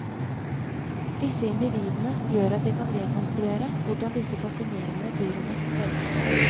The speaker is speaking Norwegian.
Disse individene gjør at vi kan rekonstruere hvordan disse fascinerende dyrene levde.